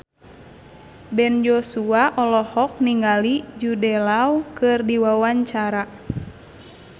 Ben Joshua olohok ningali Jude Law keur diwawancara